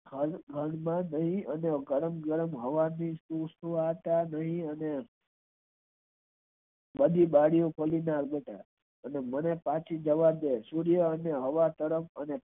રણ માં અને પવન ના સુસવાટા દય અને બધી ડાલી નો અને મને પછી સૂય્ર અને હવા તરફ